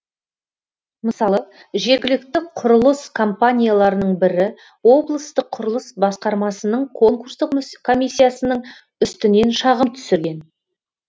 мысалы жергілікті құрылыс компанияларының бірі облыстық құрылыс басқармасының конкурстық комиссиясының үстінен шағым түсірген